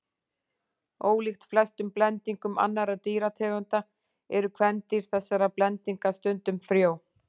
Ólíkt flestum blendingum annarra dýrategunda eru kvendýr þessara blendinga stundum frjó.